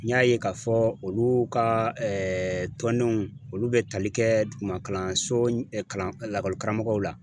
N y'a ye k'a fɔ olu ka tɔndenw olu bɛ tali kɛ duguma kalanso kalan lakɔli karamɔgɔw la.